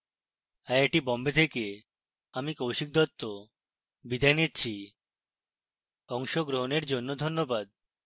অংশগ্রহনের জন্য ধন্যবাদ